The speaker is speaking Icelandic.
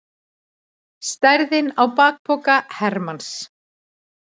Stærðin á bakpoka hermanns.